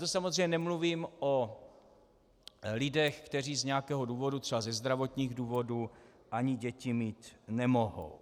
To samozřejmě nemluvím o lidech, kteří z nějakého důvodu, třeba ze zdravotních důvodů, ani děti mít nemohou.